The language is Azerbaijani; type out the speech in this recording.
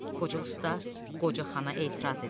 Qoca usta qoca xana etiraz edir.